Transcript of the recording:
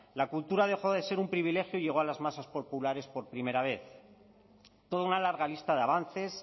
la cultura dejó de ser un privilegio y llegó a las masas populares por primera vez toda una larga lista de avances